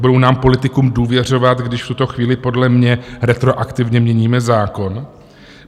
Budou nám politikům důvěřovat, když v tuto chvíli podle mě retroaktivně měníme zákon?